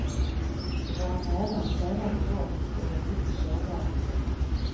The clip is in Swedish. Då våra nära och kära går bort blir vi mycket sårbara.